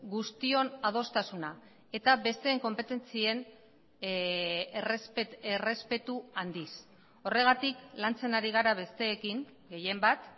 guztion adostasuna eta besteen konpetentzien errespetu handiz horregatik lantzen ari gara besteekin gehienbat